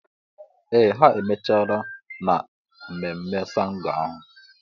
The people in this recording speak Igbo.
Ee ha emechala na mmemme ṣàngó ahụ.